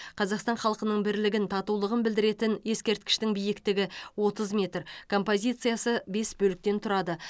қазақстан халқының бірлігін татулығын білдіретін ескерткіштің биіктігі отыз метр композициясы бес бөліктен тұрады